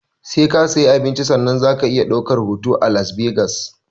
Sai ka sayi abinci sannan zaka iya ɗaukar hoto a las vegas